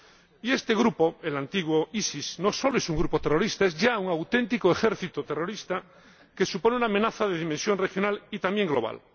Y este grupo, el antiguo EII, no solo es un grupo terrorista, es ya un auténtico ejército terrorista que supone una amenaza de dimensión regional y también global.